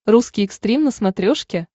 русский экстрим на смотрешке